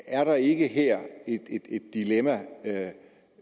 er der ikke her et dilemma